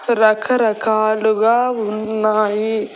రకరకాలుగా ఉన్నాయి.